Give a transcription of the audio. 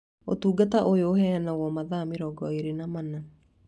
Ũtungata ũyũ ũheanagwo mathaa mĩrongo ĩĩrĩ na mana